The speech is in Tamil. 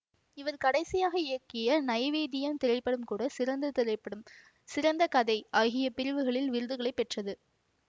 இவர் கடைசியாக இயக்கிய நைவேத்தியம் திரைப்படம் கூட சிறந்த திரைப்படம் சிறந்த கதை ஆகிய பிரிவுகளில் விருதுகளை பெற்றது